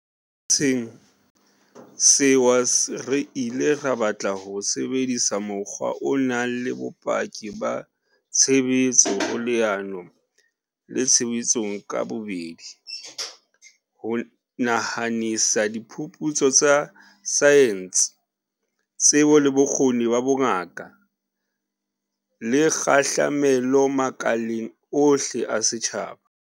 Ho lwantsheng sewa re ile ra batla ho sebedisa mokgwa o nang le bopaki ba tshebetso ho leano le tshebetsong ka bobedi, ho nahanisa diphuputso tsa saense, tsebo le bokgoni ba bongaka, le kgahlamelo makaleng ohle a setjhaba.